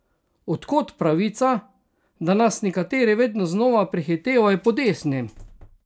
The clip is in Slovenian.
Od kod pravica, da nas nekateri vedno znova prehitevajo po desni?